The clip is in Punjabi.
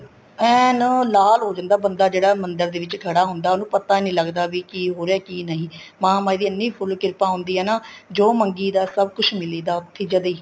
ਐਨ ਲਾਲ ਹੋ ਜਾਂਦਾ ਬੰਦਾ ਜਿਹੜਾ ਮੰਦਰ ਦੇ ਵਿੱਚ ਖੜਾ ਹੁੰਦਾ ਵੀ ਉਹਨੂੰ ਪਤਾ ਨਹੀਂ ਲੱਗਦਾ ਕੀ ਹੋ ਰਿਹਾ ਕੀ ਨਹੀਂ ਮਹਾਮਾਹੀ ਦੀ ਐਨੀ ਫੂਲ ਕਿਰਪਾ ਹੁੰਦੀ ਹੈ ਨਾ ਜੋ ਮੰਗੀ ਦਾ ਹੈ ਸਭ ਕੁੱਛ ਮਿਲੀ ਦਾ ਉੱਥੇ ਹੀ ਜਦੇ ਈ